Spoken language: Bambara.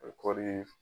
Kɔɔri